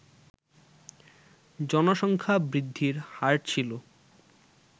জনসংখ্যা বৃদ্ধির হার ছিল